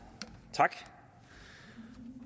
tak